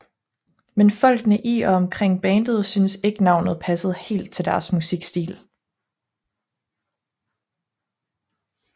Men folkene i og omkring bandet synes ikke navnet passede helt til deres musikstil